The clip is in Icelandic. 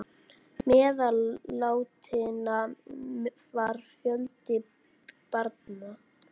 Meðal látinna var fjöldi barna.